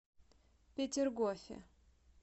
петергофе